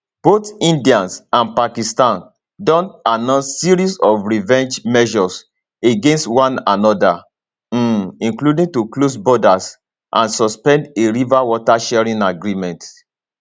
both india and pakistan don announce series of revenge measures against one anoda um including to close borders and suspend a river water sharing agreement